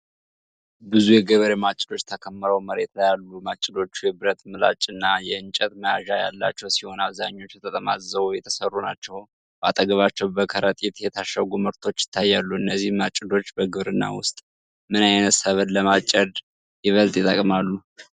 ብዙ የገበሬ ማጭዶች ተከምረው መሬት ላይ አሉ። ማጭዶቹ የብረት ምላጭ እና የእንጨት መያዣ ያላቸው ሲሆን፣ አብዛኞቹ ተጠማዝዘው የተሠሩ ናቸው። በአጠገባቸው በከረጢት የታሸጉ ምርቶች ይታያሉ። እነዚህ ማጭዶች በግብርና ውስጥ ምን ዓይነት ሰብል ለማጨድ ይበልጥ ይጠቀማሉ?